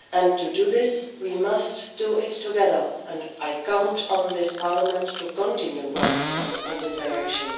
To do this, we must do it together and I count on this Parliament to continue working in this direction.